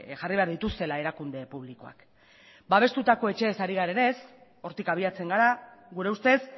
jarri behar dituztela erakunde publikoak babestutako etxeez ari garenez hortik abiatzen gara gure ustez